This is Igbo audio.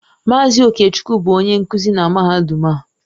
Mazị Okechukwu bụ onye nkuzi na mahadum a.